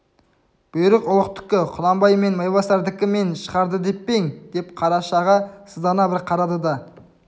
бұйрық ұлықтікі құнанбай мен майбасардікі мен шығарды деп пе ең деп қарашаға сыздана бір қарады да